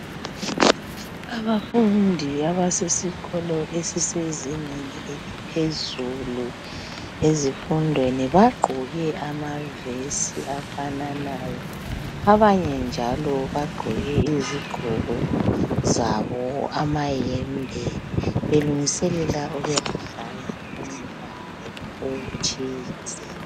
Abafundi abasesikolo esisezingeni eliphezulu ezifundweni bagqoke amavesi afananayo. Abanye njalo bagqoke izigqoko zabo amayembe. Belungiselela ukuyadla umdlalo othize